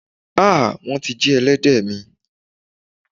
Ha! Wón ti jí elédè mi.